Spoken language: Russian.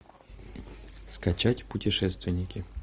скачать путешественники